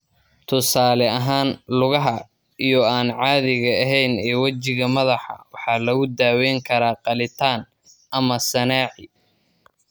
Tusaale ahaan, lugaha iyo/ama aan caadiga ahayn ee wejiga madaxa waxaa lagu daweyn karaa qalitaan iyo/ama sanaaci.